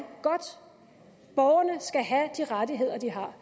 godt borgerne skal have de rettigheder de har